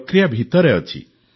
ପ୍ରକ୍ରିୟା ଭିତରେ ଅଛି